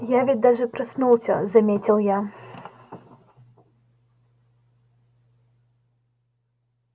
я ведь даже проснулся заметил я